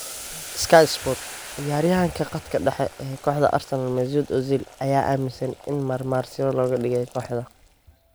(Sky Sports) Ciyaaryahanka khadka dhexe ee kooxda Arsenal Mesut Ozil ayaa aaminsan in marmarsiyo looga dhigay kooxda.